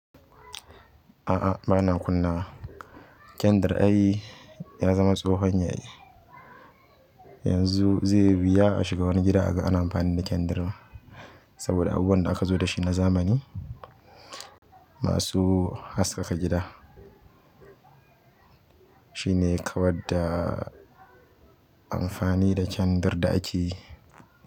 A'a bana kunnawa. Kyandir ai ya zama tsohon yayi. Yanzu zai biya a shiga wani gida aka an amfani da kyandir saɓoda abubuwan da aka zo dashi na zamani masu haskaka gida. Shi ne kawar da amfani da kyandir da akeyi.